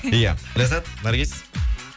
иә ләззат наргиз